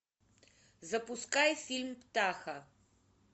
запускай фильм птаха